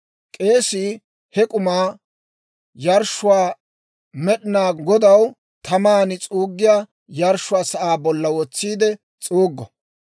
K'eesii he k'umaa yarshshuwaa Med'inaa Godaw taman s'uuggiyaa yarshshiyaa sa'aa bolla wotsiide s'uuggo.